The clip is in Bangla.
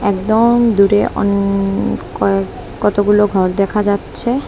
একদম দূরে অনেক কয়েক কতগুলো ঘর দেখা যাচ্ছে।